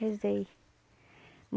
Rezei.